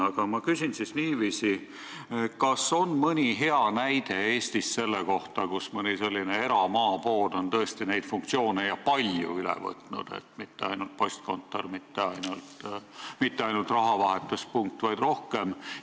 Aga ma küsin niiviisi: kas Eestis on mõni hea näide selle kohta, et mõni maapood on tõesti palju funktsioone üle võtnud, olles lisaks mitte ainult postkontor, mitte ainult rahavahetuspunkt, vaid rohkem?